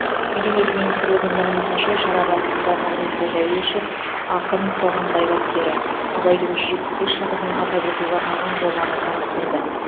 мәдениет министрлігінің мәліметінше шара барысында нұрғиса дәуешов ақын қоғам қайраткері абайдың жүз жетпіс бес жылдығын атап өтуге арналған жобаны таныстырды